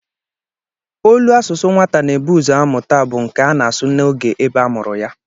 Olu asụsụ nwata na-ebu ụzọ amụta bụ nke a na-asụ n'oge ebe a mụrụ ya